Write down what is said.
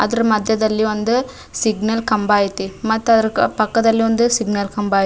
ಅದ್ರ ಮದ್ಯದಲ್ಲಿ ಒಂದು ಸಿಗ್ನಲ್ ಕಂಬ ಐತಿ ಮತ್ತ ಅದ್ರ ಪಕ್ಕಾದಲ್ಲಿ ಸಿಗ್ನಲ್ ಕಂಬ ಐತಿ.